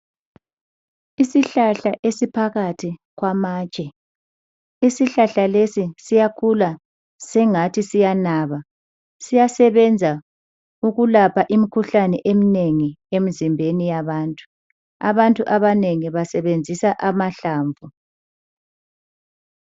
Isihlahla esiphakathi kwamatshe isihlahla lesi siyakhula singathi siyanaba siyasebenza ukulapha imkhuhlane emnengi emzimbeni yabantu, abantu abanengi basebenzisa amahlamvu.